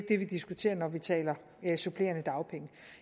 det vi diskuterer når vi taler supplerende dagpenge